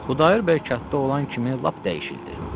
Xudayar bəy katta olan kimi lap dəyişildi.